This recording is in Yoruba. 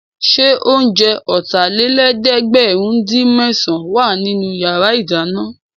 Ṣé oúnjẹ Ọ̀tàlélẹ̀ẹ́dẹ́gbẹ̀rin-dín-mésàn wà nínú yàrá ìdáná?